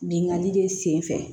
Binkani de sen fɛ